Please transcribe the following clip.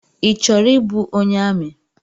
Ị chọrọ ịbụ onye amị?